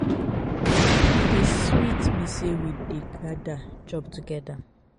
e dey sweet me sey we dey gada chop togeda.